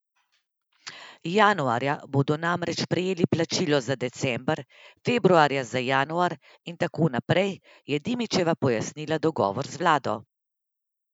Januarja bodo namreč prejeli plačilo za december, februarja za januar in tako naprej, je Dimičeva pojasnila dogovor z vlado.